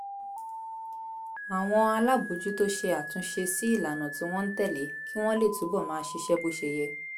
àwọn alábòójútó ṣe àtúnṣe sí ìlànà tí wọ́n ń tẹ̀lé kí wọ́n lè túbọ̀ máa ṣiṣẹ́ bó ṣe yẹ